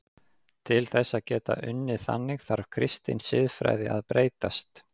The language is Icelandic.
Til þess að geta unnið þannig þarf kristin siðfræði að breytast.